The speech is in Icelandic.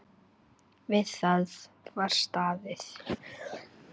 Við það var staðið.